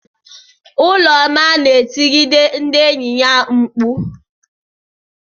Ụlọma na-etigide ndị enyi ya mkpu.